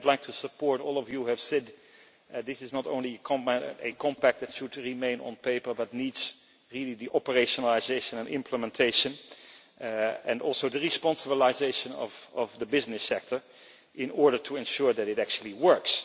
I would like to support all of you who have said that this is not only a compact that should remain on paper, but needs operationalisation and implementation, as well as the responsiblisation of the business sector in order to ensure that it actually works.